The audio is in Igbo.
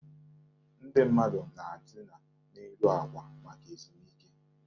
Ndị mmadụ na-adịna n'elu akwa maka ezumike.